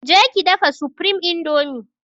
Je ki dafa supreme indomie!